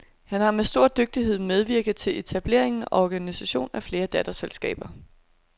Han har med stor dygtighed medvirket til etablering og organisation af flere datterselskaber.